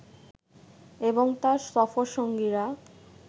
এবং তার সফরসঙ্গীরা